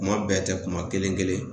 Kuma bɛɛ tɛ kuma kelen kelen